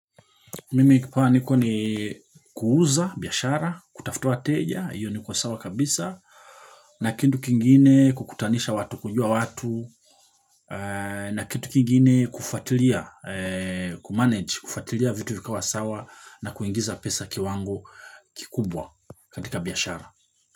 Mimi kipawa niko ni kuuza biyashara, kutafuta wa teja, hiyo niko sawa kabisa, na kitu kingine kukutanisha watu kujua watu, na kitu kingine kufuatilia, ku-manage, kufatilia vitu vikawa sawa na kuingiza pesa kiwango kikubwa katika biyashara.